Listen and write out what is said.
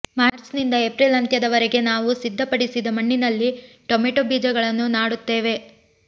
March ನಿಂದ April ಅಂತ್ಯದ ವರೆಗೆ ನಾವು ಸಿದ್ಧಪಡಿಸಿದ ಮಣ್ಣಿನಲ್ಲಿ ಟೊಮ್ಯಾಟೊ ಬೀಜಗಳನ್ನು ನಾಡುತ್ತೇವೆ